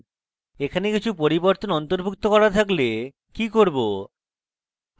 এখানে কিছু পরিবর্তন অন্তর্ভুক্ত করা থাকলে কি করব